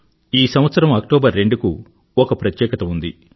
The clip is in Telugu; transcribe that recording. ఈ సంవత్సరం అక్టోబర్ రెండుకు ఒక ప్రత్యేకత ఉంది